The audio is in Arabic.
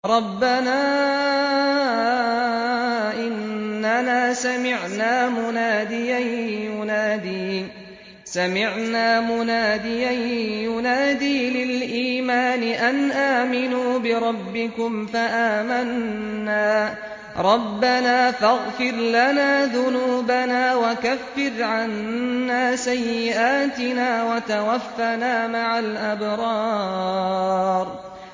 رَّبَّنَا إِنَّنَا سَمِعْنَا مُنَادِيًا يُنَادِي لِلْإِيمَانِ أَنْ آمِنُوا بِرَبِّكُمْ فَآمَنَّا ۚ رَبَّنَا فَاغْفِرْ لَنَا ذُنُوبَنَا وَكَفِّرْ عَنَّا سَيِّئَاتِنَا وَتَوَفَّنَا مَعَ الْأَبْرَارِ